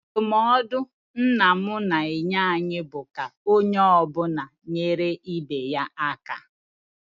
Ndụmọdụ nna m na-enye anyị bụ ka onye ọ bụla na-enyere ibe ya aka.